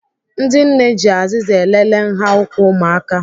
Ndị nne ji azịza elele nha ụkwụ ụmụaka